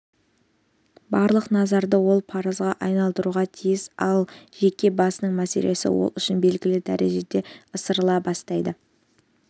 барлық назарды ол парызға аударуға тиіс ал жеке басының мәселесі ол үшін белгілі дәрежеде ысырыла бастайды